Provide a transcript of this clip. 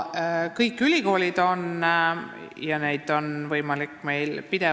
Kõik ülikoolid on sellele mõelnud.